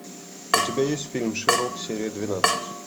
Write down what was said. у тебя есть фильм шерлок серия двенадцать